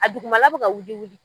A dugumala bɛ ka wuli wuli.